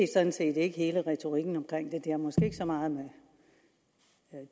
er sådan set ikke hele retorikken omkring det det har måske ikke så meget med